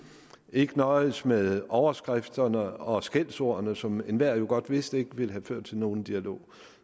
ikke nøjedes med overskrifterne og skældsordene som enhver jo godt vidste ikke ville føre til nogen dialog